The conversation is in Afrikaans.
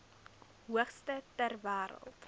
hoogste ter wêreld